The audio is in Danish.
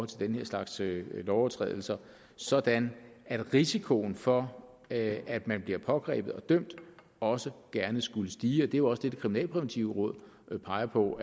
den her slags lovovertrædelser sådan at risikoen for at at man bliver pågrebet og dømt også gerne skulle stige det er jo også det det kriminalpræventive råd peger på